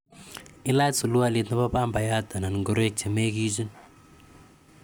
Ilach sulwalit nepa pambayat anan ngoroik �che megichin